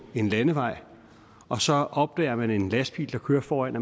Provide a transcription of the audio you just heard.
en landevej og så opdager man en lastbil der kører foran